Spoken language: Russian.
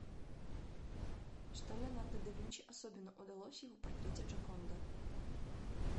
что леонардо да винчи особенно удалось в его портрете джоконда